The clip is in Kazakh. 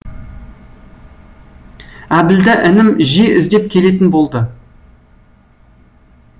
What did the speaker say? әбілда інім жиі іздеп келетін болды